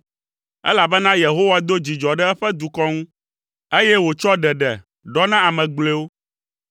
Elabena Yehowa do dzidzɔ ɖe eƒe dukɔ ŋu, eye wòtsɔ ɖeɖe ɖɔ na ame gblɔewo.